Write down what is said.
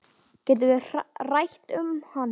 Getum við rætt um hann?